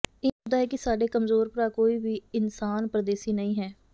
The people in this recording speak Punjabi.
ਇੰਜ ਜਾਪਦਾ ਹੈ ਕਿ ਸਾਡੇ ਕਮਜ਼ੋਰ ਭਰਾ ਕੋਈ ਵੀ ਇਨਸਾਨ ਪਰਦੇਸੀ ਨਹੀਂ ਹੈ